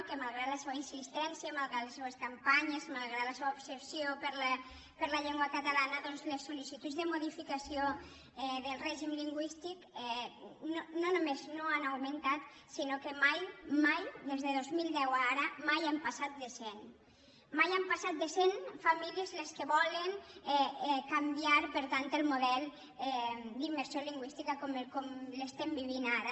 que malgrat la seua insistència malgrat les seues mancances malgrat la seua obsessió per la llengua catalana doncs les solde modificació del règim lingüístic no només no han augmentat sinó que mai mai des de dos mil deu fins ara mai han passat de cent mai han passat de cent famílies les que volen canviar per tant el model d’immersió lingüística com l’estem vivint ara